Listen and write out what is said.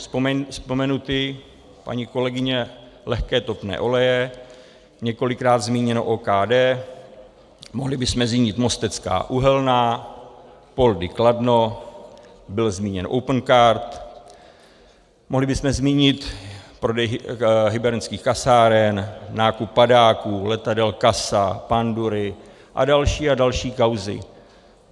Vzpomenuty, paní kolegyně, lehké topné oleje, několikrát zmíněno OKD, mohli bychom zmínit Mostecká uhelná, Poldi Kladno, byl zmíněn Opencard, mohli bychom zmínit prodej hybernských kasáren, nákup padáků, letadel CASA, pandury a další a další kauzy.